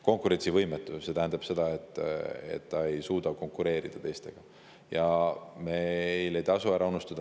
Konkurentsivõimetu – see tähendab, et ta ei suuda konkureerida.